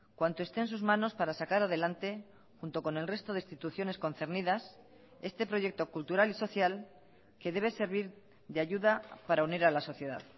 cuanto esté en sus manos para sacar adelante junto con el resto de instituciones concernidas este proyecto cultural y social que debe servir de ayuda para unir a la sociedad